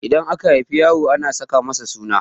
Idan aka haifi yaro ana saka masa suna